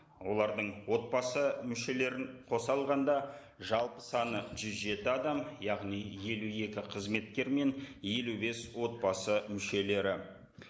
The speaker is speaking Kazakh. олардың отбасы мүшелерін қоса алғанда жалпы саны жүз жеті адам яғни елу екі қызметкер мен елу бес отбасы мүшелері